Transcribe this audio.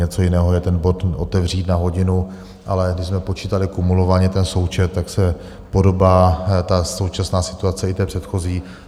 Něco jiného je ten bod otevřít na hodinu, ale když jsme počítali kumulovaně ten součet, tak se podobá ta současná situace, i té předchozí.